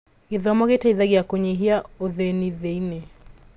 Gĩthomo gĩteithagia kũnyihia ũthĩĩni thĩ-inĩ.